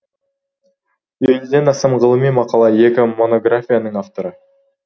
елуден астам ғылыми мақала екі монографияның авторы